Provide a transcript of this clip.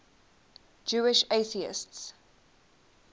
jewish atheists